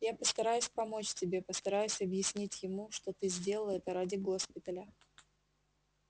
я постараюсь помочь тебе постараюсь объяснить ему что ты сделала это ради госпиталя